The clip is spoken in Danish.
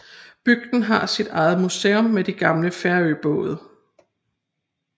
Bygden har sit eget museum med de gamle færøbåde